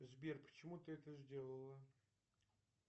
сбер почему ты это сделала